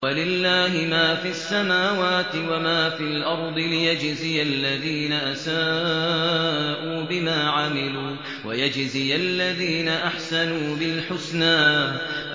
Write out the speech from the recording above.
وَلِلَّهِ مَا فِي السَّمَاوَاتِ وَمَا فِي الْأَرْضِ لِيَجْزِيَ الَّذِينَ أَسَاءُوا بِمَا عَمِلُوا وَيَجْزِيَ الَّذِينَ أَحْسَنُوا بِالْحُسْنَى